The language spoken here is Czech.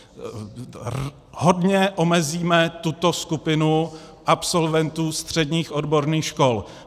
Hodně omezíme tuto skupinu absolventů středních odborných škol.